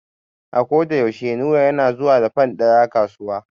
A ko da yaushe Nura yana zuwa da fan ɗaya kasuwa.